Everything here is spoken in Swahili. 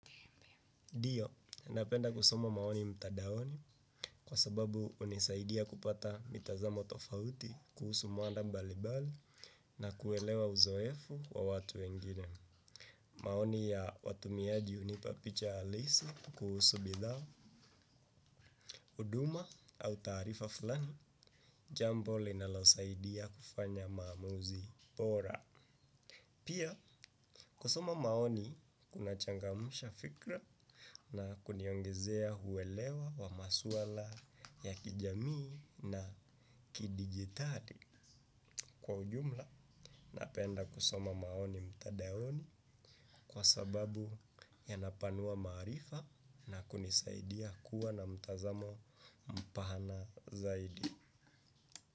Ndio, napenda kusoma maoni mtadaoni kwa sababu hunisaidia kupata mitazamo tofauti kuhusu mwanda mbali-bali na kuelewa uzoefu wa watu wengine. Maoni ya watumiaji hunipapicha halisi kuhusu bidhaa, huduma au taarifa fulani, jambo linalosaidia kufanya maamuzi bora. Pia kusoma maoni kuna changamsha fikra na kuniongezea huelewa wa maswala ya kijamii na kidigitali kwa ujumla na penda kusoma maoni mtadaoni kwa sababu ya napanua maarifa na kunisaidia kuwa na mtazamo mpana zaidi.